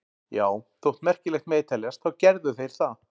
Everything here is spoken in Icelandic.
Já, þótt merkilegt megi teljast þá gerðu þeir það.